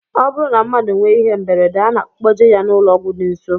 Ọ bụrụ na mmadụ nwee ihe mberede a na-akpọje ya n'ụlọọgwụ dị nsọ